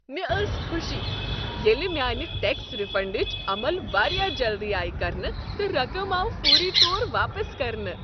مےٚ ٲس خوشی ییٚلہ میانہ ٹیکس ریفنڈٕچ عمل واریاہ جلدی آیِہ کرنہٕ، تہٕ رقم آو فوری طور واپس کرنہٕ۔